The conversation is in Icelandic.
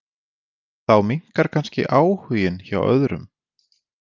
Þá minnkar kannski áhuginn hjá öðrum.